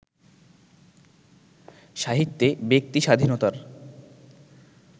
সাহিত্যে ব্যক্তিস্বাধীনতার